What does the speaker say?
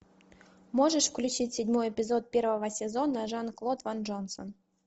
можешь включить седьмой эпизод первого сезона жан клод ван джонсон